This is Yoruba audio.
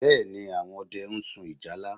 Bẹ́ẹ̀ ni, àwọn ọdẹ ń sun ìjálá